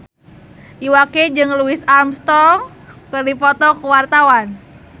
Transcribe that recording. Iwa K jeung Louis Armstrong keur dipoto ku wartawan